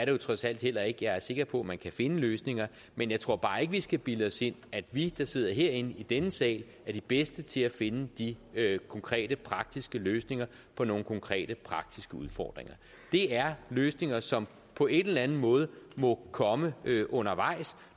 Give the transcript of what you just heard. jo trods alt heller ikke jeg er sikker på man kan finde løsninger men jeg tror bare ikke vi skal bilde os ind at vi der sidder herinde i denne sal er de bedste til at finde de konkrete praktiske løsninger på nogle konkrete praktiske udfordringer det er løsninger som på en eller en måde må komme undervejs